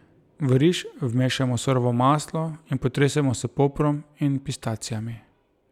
V riž vmešamo surovo maslo in potresemo s poprom in pistacijami.